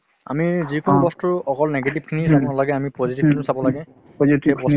আমি যিকোনো বস্তুৰ অকল negative খিনি জানিব নালাগে আমি positive টোও চাব লাগে